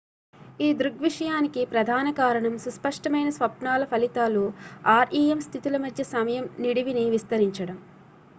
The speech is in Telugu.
ఈ దృగ్విషయానికి ప్రధాన కారణం సుస్పష్టమైన స్వప్నాల ఫలితాలు rem స్థితుల మధ్య సమయం నిడివిని విస్తరించడం